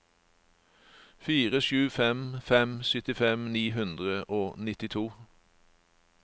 fire sju fem fem syttifem ni hundre og nittito